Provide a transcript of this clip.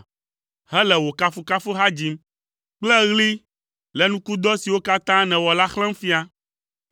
hele wò kafukafuha dzim kple ɣli le nukudɔ siwo katã nèwɔ la xlẽm fia.